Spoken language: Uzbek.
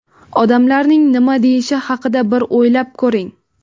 Odamlar nima deyishi haqida bir o‘ylab ko‘ring.